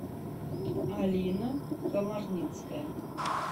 алина комарницкая